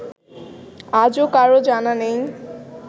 আজও কারও জানা নেই